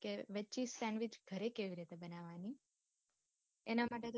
કે veg cheese sandwich ગરે કેવી રીતે બનાવાની? એના માટે મને